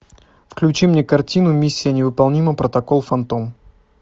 включи мне картину миссия невыполнима протокол фантом